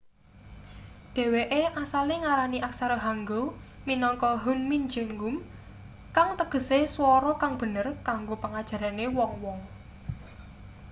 dheweke asale ngarani aksara hangeul minangka hunmin jeongum kang tegese swara kang bener kanggo pengajarane wong-wong